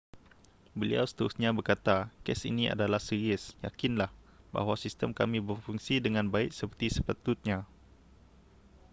beliau seterusnya berkata kes ini adalah serius yakinlah bahawa sistem kami berfungsi dengan baik seperti sepatutnya